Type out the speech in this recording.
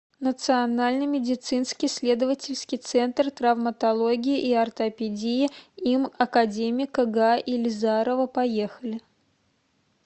национальный медицинский исследовательский центр травматологии и ортопедии им академика га илизарова поехали